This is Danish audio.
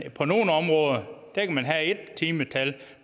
på nogle områder kan have ét timetal